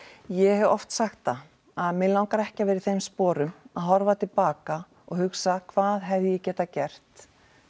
ég hef oft sagt það að mig langar ekki að vera í þeim sporum að horfa til baka og hugsa hvað hefði ég getað gert